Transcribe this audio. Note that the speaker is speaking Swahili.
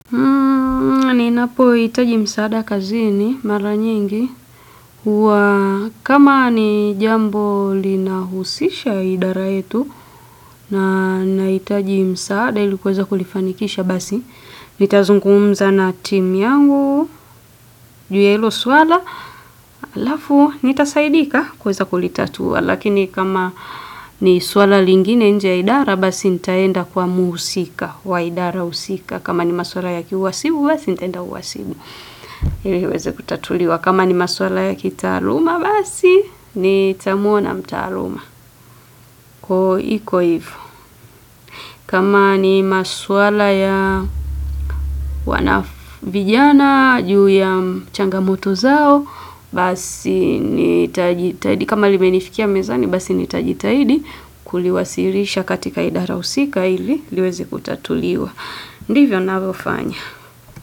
Ninapo itaji msaada kazini mara nyingi huwa kama ni jambo lina husisha idara yetu na naitaji msaada ilikuweza kulifanikisha basi. Nitazungumza na team yangu, juu ya ilo swala, alafu nitasaidika kweza kulitatua. Lakini kama ni swala lingine nje ya idara basi nitaenda kwa muhusika wa idara husika. Kama ni maswala ya kiuwasibu, basi nitaenda uwasibu. Hili iweze kutatuliwa. Kama ni maswala ya kitaaluma basi, nitamuona mtaaluma. Koo iko hivo. Kama ni maswala ya wana vijana, juu ya changamoto zao, basi nitajitahidi. Kama limenifikia mezani, basi nitajitahidi kuliwasilisha katika idara husika ili liweze kutatuliwa. Ndivyo navofanya.